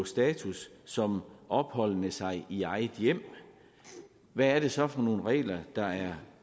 status som opholdende sig i eget hjem hvad er det så for nogle regler der er